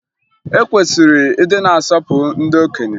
E kwesịrị ịdị na-asọpụrụ ndị okenye